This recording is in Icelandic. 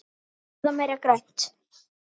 Borða meira grænt.